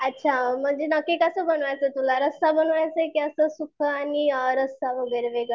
अच्छा म्हणजे नक्की कास बनवायचंय तुला? म्हणजे रस्सा बनवायचाय कि असाच सुक्क आणि रस्सा वगैरे वेगळा.